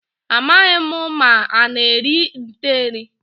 Amaghị m ma ana eri nte eri.